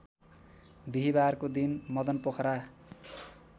बिहीबारको दिन मदनपोखरा